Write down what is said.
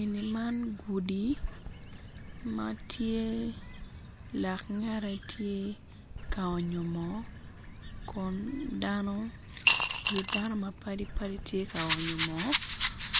Eni man gudi ma tye langette tye ka onyo moo kun dano wit dano ma padi padi tye ka onyo moo